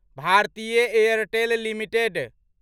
Bharatiya Airtel limited